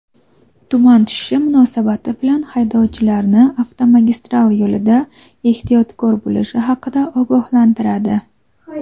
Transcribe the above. tuman tushishi munosabati bilan haydovchilarni avtomagistral yo‘lida ehtiyotkor bo‘lishi haqida ogohlantiradi.